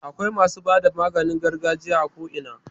Akwai masu bada maganin gargajiya a ko ina.